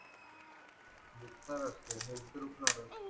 health तर